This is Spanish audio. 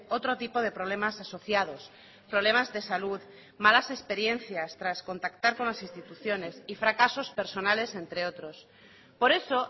otro tipo de problemas asociados problemas de salud malas experiencias tras contactar con las instituciones y fracasos personales entre otros por eso